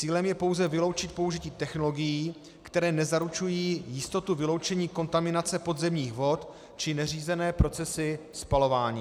Cílem je pouze vyloučit použití technologií, které nezaručují jistotu vyloučení kontaminace podzemních vod či neřízené procesy spalování.